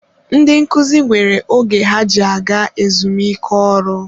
Ndị nkuzi nwere oge ha ji aga ezumike ọrụ.